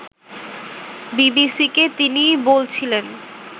বিবিসিকে তিনি বলছিলেন